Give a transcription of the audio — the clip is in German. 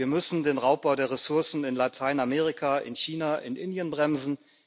Wir müssen den Raubbau der Ressourcen in Lateinamerika, in China, in Indien bremsen.